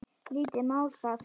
Lítið mál það.